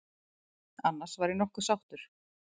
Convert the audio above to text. Annars var ég nokkuð sáttur.